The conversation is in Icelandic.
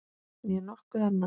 Né nokkuð annað.